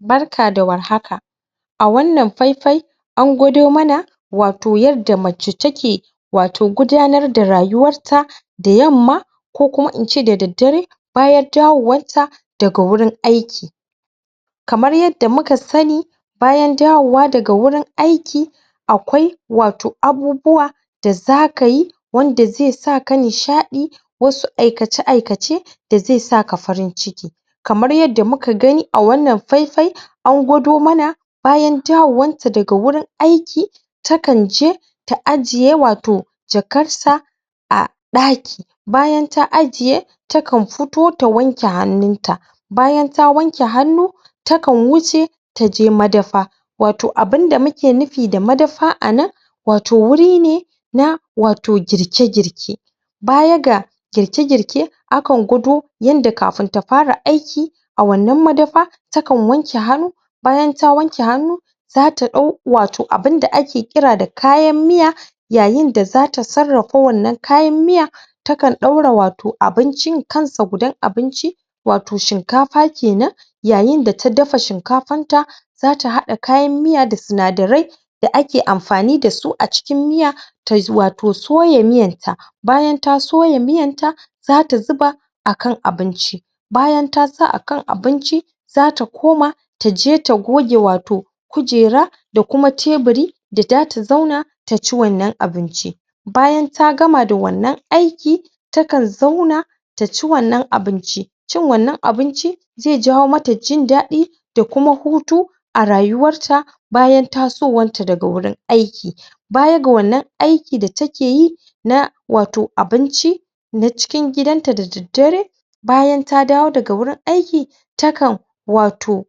Barka da war haka a wannan faifai an gwado mana wato yadda mace take wato gudanar da rayuwarta da yamma ko kuma ince da daddare bayan dawowarta daga wurin aiki kamar yadda muka sani bayan dawowa daga wurin aiki akwai wato abubuwa da zaka yi wanda zai sa ka nishaɗi wasu aikace aikace da zai saka farin ciki kamar yadda muka gani a wannan faifai an gawado mana bayan dawowanta daga wurin aiki ta kan je ta ajiye wato jakar ta a ɗaki bayan ta ajiye ta kan futo ta wanke hannun ta bayan ta wanke hannu ta kan wuce taje madafa wato abinda mu ke nufi da madafa a nan wato wuri ne na wato girke girke baya ga girke girke a kan gwado yanda kafin ta fara aiki a wannan madafa ta kan wanke hannu bayan ta wanke hannu zata ɗau wato abinda ake kira da kayan miya yayin da za ta sarrafa kayan miya ta kan ɗora abincin kan sa gudan abincin wato shinkafa kenan yayin da ta dafa shinkafan ta za ta haɗa kayan miyan da sinadarai da ake amfani da su a cikin miya tai wato soya miyan ta bayan ta soya miyanta za ta zuba a kan abinci bayan ta sa a kan abinci za ta koma taje ta goge wato kujera da kuma teburi da za ta zauna ta ci wannan abinci bayan ta gama da wannan aiki ta kan zauna ta ci wannan abinci cin wannan abinci zai jawo mata jin daɗi da kuma hutu a rayuwarta bayan tasowanta daga wurin aiki baya ga wannan aiki da takeyi na wato abinci na cikin gidan da daddare bayan ta dawo daga wurin aiki ta kan wato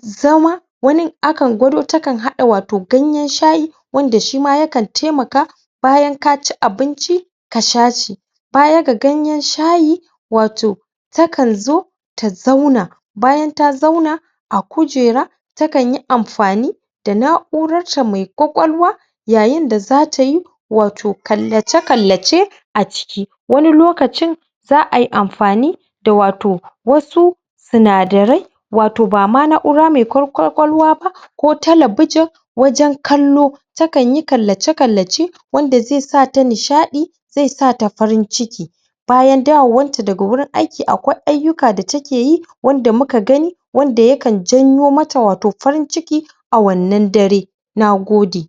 zama wanin akan gwado tana haɗa watau ganyen shayi wanda shima ya kan taimaka bayan ka ci abinci ka sha shi baya ga ganyen shayi wato ta kan zo ta zauna bayan ta zauna a kujera ta kan yi amfani da na'urarta mai ƙwaƙwalwa yayin da za ta yi wato kallace kallace a ciki wani lokacin za ai amfani da wato wasu sinadarai wato na na'ura mai ƙwaƙwalwa ba ko talbijin wajen kallo ta kan yi kallace kallace wanda zai sa ta nishaɗi zai sa ta farin ciki bayan dawowanta daga wurin aiki akwai ayyuka da take yi wanda muka gani wanda ya kan janyo mata wato farin ciki a wannan dare nagode